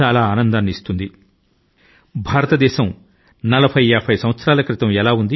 ఆనాటి భారతదేశాన్ని గురించి తెలుసుకోవడం మీకు కూడా సంతోషాన్ని ఇస్తుంది